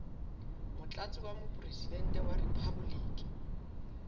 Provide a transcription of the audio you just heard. motlatsi wa mopresidente wa riphaboliki